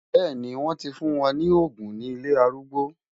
Bẹ́ẹ̀ni, wọ́n ti fún wọn ní òògùn ní ilé arúgbó.